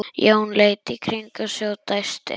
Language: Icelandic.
Jón leit í kringum sig og dæsti.